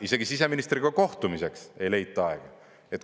Isegi siseministriga kohtumiseks ei leita aega!